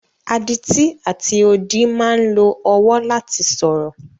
Adití àti odi máa ń lo ọwọ́ láti sọ̀rọ̀.